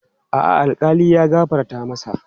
A'a, alkali ya gafarta masa.